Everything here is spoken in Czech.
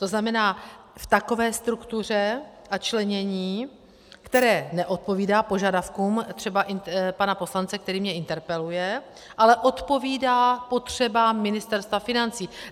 To znamená, v takové struktuře a členění, které neodpovídá požadavkům třeba pana poslance, který mě interpeluje, ale odpovídá potřebám Ministerstva financí.